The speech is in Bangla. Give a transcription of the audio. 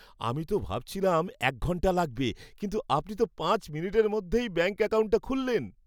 আমি তো ভাবছিলাম এক ঘন্টা লাগবে কিন্তু আপনি তো পাঁচ মিনিটের মধ্যেই ব্যাঙ্ক অ্যাকাউন্টটা খুললেন!